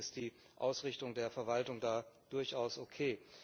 Grundsätzlich ist die Ausrichtung der Verwaltung da durchaus okay.